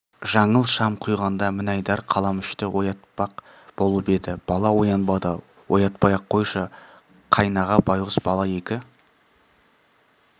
жаңыл шам құйғанда мінайдар қаламүшты оятпақ болып еді бала оянбады оятпай-ақ қойшы қайнаға байғұс бала екі